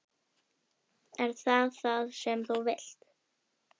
Er það það sem þú vilt?